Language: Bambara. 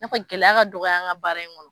I na fɔ gɛlɛya ka dɔgɔya an ka baara in kɔnɔ.